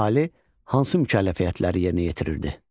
Əhali hansı mükəlləfiyyətləri yerinə yetirirdi?